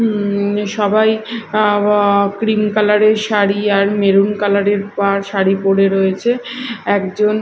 উম সবাই আ ব ক্রিম কালার -এর শাড়ি আর মেরুন কালার -এর পাড় শাড়ি পরে রয়েছে একজন--